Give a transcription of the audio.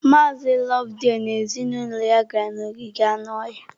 Mazị Loveday na ezinụlọ ya gara n'ogige anụ ọhịa.